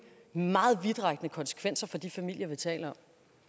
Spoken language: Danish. meget vidtrækkende konsekvenser for de familier vi taler